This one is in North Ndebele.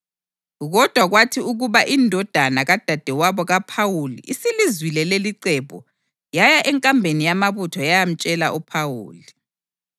Kodwa kwathi ukuba indodana kadadewabo kaPhawuli isilizwile lelicebo, yaya enkambeni yamabutho yayamtshela uPhawuli.